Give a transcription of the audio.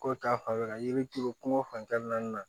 Ko ta fanfɛla yiri turu kunko fan kelen na